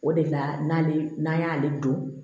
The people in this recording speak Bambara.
O de la n'ale n'an y'ale don